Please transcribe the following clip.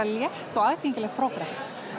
létt og aðgengilegt prógram